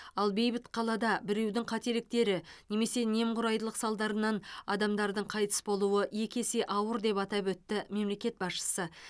ал бейбіт қалада біреудің қателіктері немесе немқұрайдылық салдарынан адамдардың қайтыс болуы екі есе ауыр деп атап өтті мемлекет басшысы